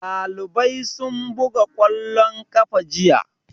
Ɗalibai sun buga ƙwallon ƙafa jiya.